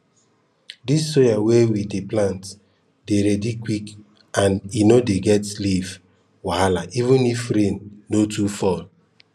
this soya wey we dey plant dey ready quick and e no dey get leaf wahala even if rain no too fall